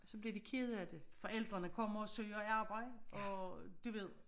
Så bliver de kede af det forældrene kommer og søger arbejde og du ved